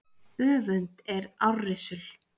Öfund er árrisul.